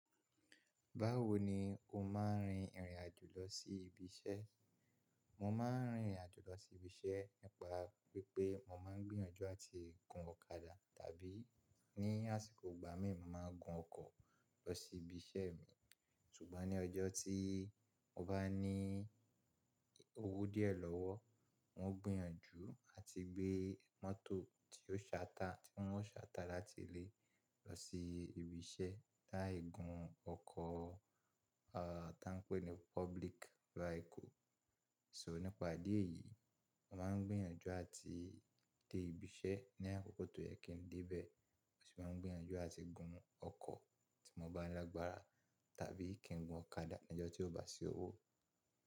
Báwo ni o máa ń rin ìrìn àjò lọ sí ibi iṣẹ́? Mo máa ń rin ìrìn àjò lọ sí ibi iṣẹ́ nípa wípé mo máa ń gbìyànjú àti gun ọ̀kadà, tàbí ní àsìkò ìgbà mí máa gun ọkọ̀ lọ sí ibi iṣẹ́ mi. Ṣùgbọ́n ní ọjọ́ tí mo bá ní owó díẹ̀ lọ́wọ́, mo ń gbìyànjú àti gbé mọ́tò tí ó ṣàtà, tí wọ́n ó ṣàtà láti ilé lọ sí ibi iṣẹ́ lai gun ọkọ̀, à, tá ń pè ní public vehicle. So nípa ìdí èyí, mo máa ń gbìyànjú àti dé ibi iṣẹ́ ní àkókò tó yẹ kí n dé bẹ̀, mo sì máa ń gbìyànjú àti gun ọkọ̀ tí mo bá lágbára, tàbí kí n gun ọ̀kadà ní ọjọ́ tí ò bá sí owó.